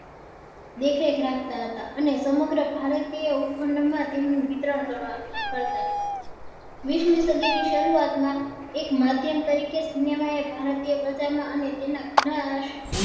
દેખ રેખ રાખતા હતા અને સમગ્ર ભારતીય ઉપખંડ માં તેમનું વિતરણ કરવા કરતા હતા વીસ મી સદી ની સરુઆત માં એક માધ્યમ તરીકે cinema એ ભારતીય બજાર માં અને તેના ગણા